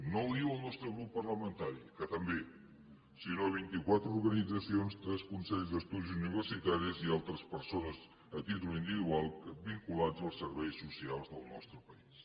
no ho diu el nostre grup parlamentari que també sinó vint i quatre organitzacions tres consells d’estudis universitaris i altres persones a títol individual vinculades als serveis socials del nostre país